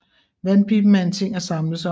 Vandpiben er en ting at samles om